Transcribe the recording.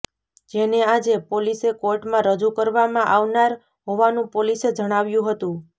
જેને આજે પોલીસે કોર્ટમાં રજૂ કરવામાં આવનાર હોવાનું પોલીસે જણાવ્યું હતુ